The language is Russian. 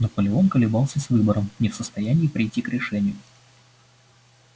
наполеон колебался с выбором не в состоянии прийти к решению